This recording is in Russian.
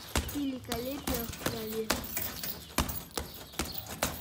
великолепие в траве